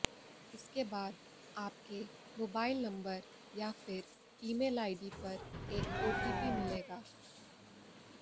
इसके बाद आपके मोबाइल नंबर या फिर ईमेल आईडी पर एक ओटीपी मिलेगा